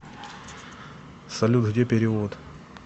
салют где перевод